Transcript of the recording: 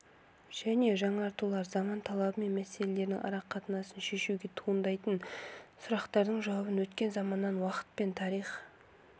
және жаңартулар заман талабы мәселелерінің арақатынасын шешуде туындайтын сұрақтардың жауабын өткен заманнан уақыт пен тарих